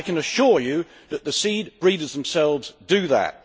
I can assure you that the seed breeders themselves do that.